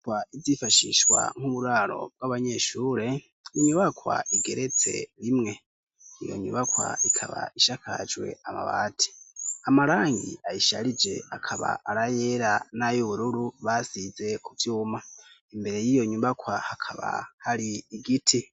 Inyubakwa izifashishwa nk'uburaro bw'abanyeshure. Inyubakwa igeretse rimwe iyo nyubakwa ikaba ishakajwe amabati amarangi ayisharije akaba arayera nayo ubururu, basize kubyuma imbere y'iyo nyubakwa hakaba hari igiti.